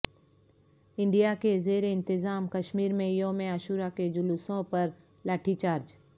India کے زیر انتظام کشمیر میں یوم عاشور کے جلوسوں پر لاٹھی چارج